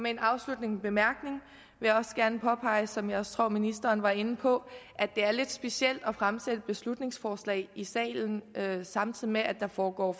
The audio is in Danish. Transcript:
en afsluttende bemærkning vil jeg også gerne påpege som jeg tror ministeren også var inde på at det er lidt specielt at fremsætte et beslutningsforslag i salen samtidig med at der foregår